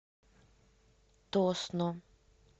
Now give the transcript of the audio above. тосно